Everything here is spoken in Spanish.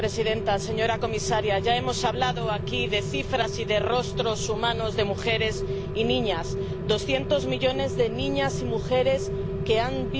presidenta, señora comisaria, ya hemos hablado aquí de cifras y de rostros humanos de mujeres y niñas 200 millones de niñas y mujeres que han visto destruida su integridad física